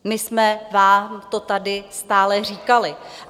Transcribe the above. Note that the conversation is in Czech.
My jsme vám to tady stále říkali.